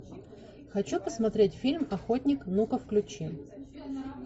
хочу посмотреть фильм охотник ну ка включи